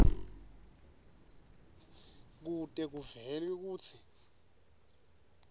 kute kuvele kutsi